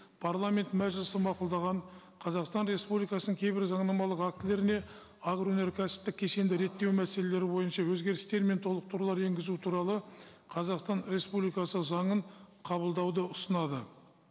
парламент мәжілісі мақұлдаған қазақстан республикасының кейбір заңнамалық актілеріне агроөнеркәсіптік кешенді реттеу мәселелері бойынша өзгерістер мен толықтырулар енгізу туралы қазақстан республикасы заңын қабылдауды ұсынады